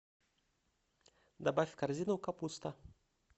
добавь в корзину капуста